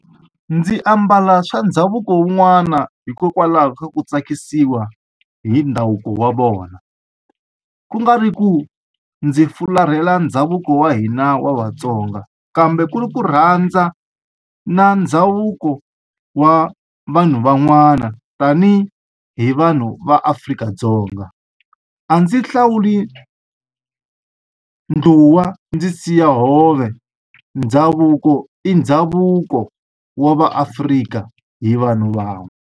Ndzi ambala swa ndhavuko wun'wana hikokwalaho ka ku tsakisiwa hi ndhavuko wa vona ku nga ri ku ndzi fularhela ndhavuko wa hina wa vatsonga kambe ku ri ku rhandza na ndhavuko wa vanhu van'wana tanihi hi vanhu va Afrika-Dzonga a ndzi hlawuli ndluwa ndzi siya hove ndhavuko i ndhavuko wa va Afrika hi vanhu van'we.